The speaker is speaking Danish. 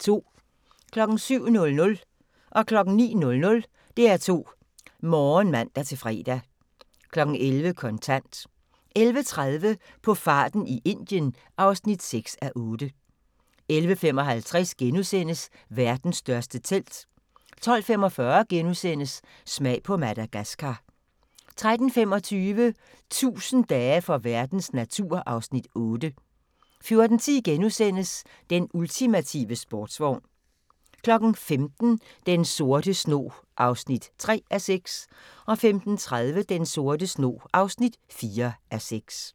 07:00: DR2 Morgen (man-fre) 09:00: DR2 Morgen (man-fre) 11:00: Kontant 11:30: På farten i Indien (6:8) 11:55: Verdens største telt * 12:45: Smag på Madagaskar * 13:25: 1000 dage for verdens natur (Afs. 8) 14:10: Den ultimative sportsvogn * 15:00: Den sorte snog (3:6) 15:30: Den sorte snog (4:6)